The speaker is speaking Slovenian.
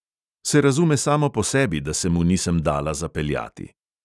Se razume samo po sebi, da se mu nisem dala zapeljati.